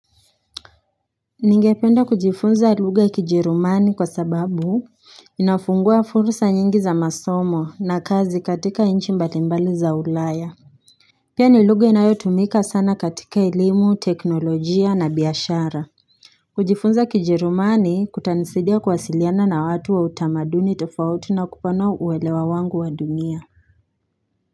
Ningependa kujifunza lugha ya kijerumani kwa sababu inafungua fursa nyingi za masomo na kazi katika inchi mbalimbali za ulaya Pia ni lugha inayotumika sana katika elimu teknolojia na biashara kujifunza kijerumani kutanisidia kwasiliana na watu wa utamaduni tofauti na kupanua uwelewa wangu wa dunia.